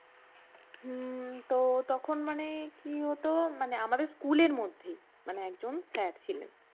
হম তো তখন মানে কি হত মানে আমাদের স্কুলের মধ্যেই মানে একজন স্যার ছিলেন